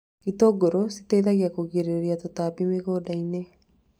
Itũngũrũ cietithagia kũgĩrĩria tũtambi mĩgũnda-inĩ